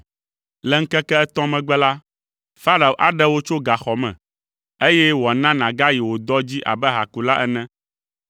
Le ŋkeke etɔ̃ megbe la, Farao aɖe wò tso gaxɔ me, eye wòana nàgayi wò dɔ dzi abe ahakula ene.